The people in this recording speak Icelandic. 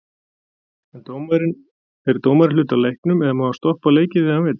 Er dómarinn hluti af leiknum eða má hann stoppa leikinn þegar hann vill?